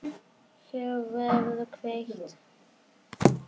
Hér verður kveikt.